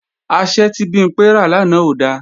Asẹ́ tí Bimpé rà lánàá ò da